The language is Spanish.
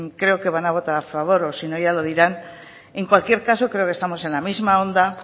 creo que van a votar a favor o si no ya lo dirán en cualquier caso creo que estamos en la misma onda